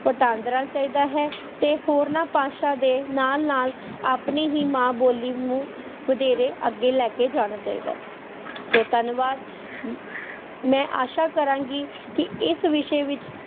ਵਟਾਂਦਰਾਂ ਚਾਹੀਦਾ ਹੈ, ਤੇ ਹੋਰਨਾਂ ਭਾਸ਼ਾ ਦੇ ਨਾਲ ਨਾਲ ਆਪਣੀ ਹੀ ਮਾਂ ਬੋਲੀ ਨੂੰ ਵਧੇਰੇ ਅੱਗੇ ਲੈ ਕੇ ਜਾਣਾ ਚਾਹੀਦਾ ਹੈ, ਸੋ ਧੰਨਵਾਦ ਅਮ ਮੈਂ ਆਸ਼ਾ ਕਰਾਂਗੀ ਕਿ ਇਸ ਵਿਸ਼ੇ ਵਿੱਚ